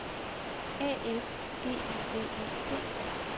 A F G I V E T